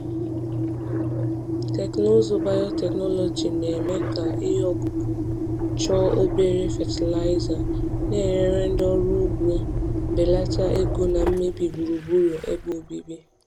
Teknụzụ biotechnology na-eme ka ihe ọkụkụ chọọ obere fatịlaịza, na-enyere ndị ọrụ ugbo belata ego na mmebi gburugburu ebe obibi.